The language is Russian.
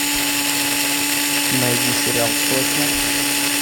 найди сериал сотня